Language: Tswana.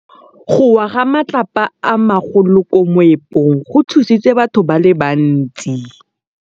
Go wa ga matlapa a magolo ko moepong go tshositse batho ba le bantsi.